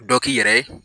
Dɔ k'i yɛrɛ ye